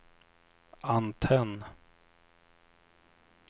antenn